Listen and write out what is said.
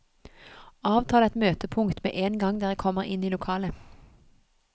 Avtal et møtepunkt med en gang dere kommer inn i lokalet.